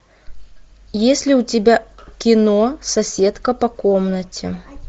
есть ли у тебя кино соседка по комнате